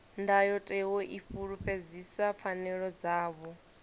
ndayotewa i fulufhedzisa pfanelo dzavho